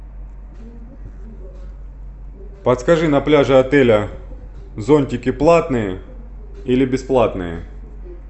подскажи на пляже отеля зонтики платные или бесплатные